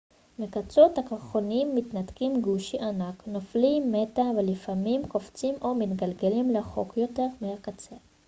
מקצות הקרחונים מתנתקים גושי ענק נופלים מטה ולפעמים קופצים או מתגלגלים רחוק יותר מהקצה